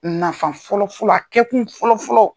Nafa fɔlɔ fɔlɔ a kɛkun fɔlɔ fɔlɔ.